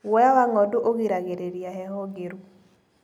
Guoya wa ng'ondu ũgiragĩrĩria heho ngĩru.